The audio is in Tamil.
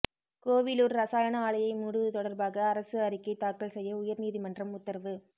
கோவிலூா் ரசாயன ஆலையை மூடுவது தொடா்பாக அரசு அறிக்கை தாக்கல் செய்ய உயா்நீதிமன்றம் உத்தரவு